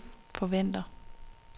forventer